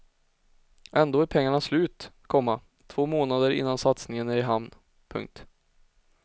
Ändå är pengarna slut, komma två månader innan satsningen är i hamn. punkt